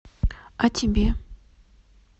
а тебе